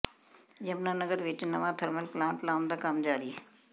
ਯਮੁਨਾਨਗਰ ਵਿੱਚ ਨਵਾਂ thermal plant ਲਾਉਣ ਦਾ ਕੰਮ ਜਾਰੀ